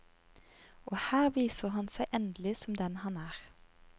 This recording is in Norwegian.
Og her viser han seg endelig som den han er.